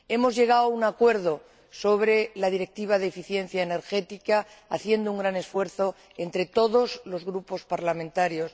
Hemos llegado a un acuerdo sobre la Directiva de eficiencia energética haciendo un gran esfuerzo entre todos los grupos parlamentarios.